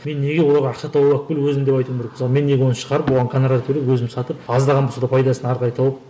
мен неге оларға ақша тауып алып кел өзің деп айтуым керек мысалы мен неге оны шығарып оған гонорар төлеп өзім сатып аздаған болса да пайдасын әрі қарай тауып